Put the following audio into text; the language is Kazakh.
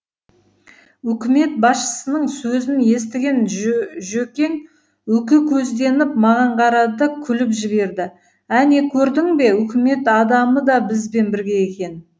үкімет басшысының сөзін естіген жөкең үкі көзденіп маған қарады да күліп жіберді әне көрдің бе үкімет адамы да бізбен бірге екен